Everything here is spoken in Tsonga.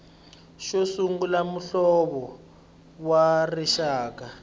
xo sungula muhlovo wa rixaka